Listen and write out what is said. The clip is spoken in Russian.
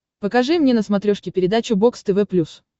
покажи мне на смотрешке передачу бокс тв плюс